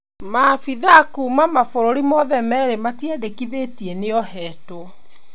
Maabithaa kuma mabũrũri mothe merĩ matiandĩkithĩtie nĩohetwo.